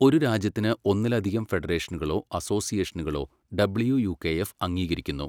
ഒരു രാജ്യത്തിന് ഒന്നിലധികം ഫെഡറേഷനുകളോ അസോസിയേഷനുകളോ ഡബ്ല്യൂ യൂ കെ എഫ് അംഗീകരിക്കുന്നു.